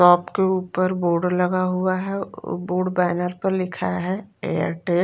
top के ऊपर board लगा हुआ है बोर्ड बैनर पर लिखा हुआ है एयरटेल --